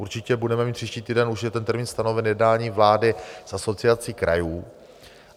Určitě budeme mít příští týden, už je ten termín stanoven, jednání vlády s Asociací krajů.